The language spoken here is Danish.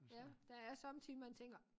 Ja der er sommetider man tænker